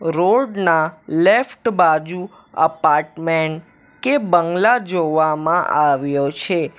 Road ના left બાજુ apartment કે બંગલા જોવામાં આવ્યો છે.